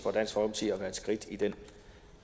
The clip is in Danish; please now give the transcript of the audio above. at være et skridt i den